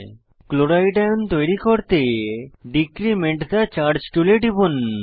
chloride ion তৈরী করতে decrement the charge টুলে টিপুন